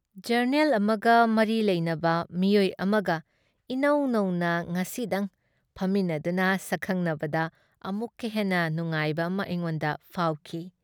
Journal ꯑꯃꯒ ꯃꯔꯤ ꯂꯩꯅꯕ ꯃꯤꯑꯣꯏ ꯑꯃꯒ ꯏꯅꯧ ꯅꯧꯅ ꯉꯁꯤꯗꯪ ꯐꯝꯃꯤꯟꯅꯗꯨꯅ ꯁꯛꯈꯪꯅꯕꯗ ꯑꯃꯨꯛꯀ ꯍꯦꯟꯅ ꯅꯨꯉꯥꯏꯕ ꯑꯃ ꯑꯩꯉꯣꯟꯗ ꯐꯥꯎꯈꯤ ꯫